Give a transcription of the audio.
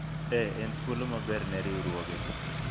eeh ,en thuolo maber ne riwruogwa